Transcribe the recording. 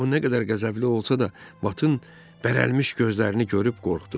O nə qədər qəzəbli olsa da, Vatın bərəlmiş gözlərini görüb qorxdu.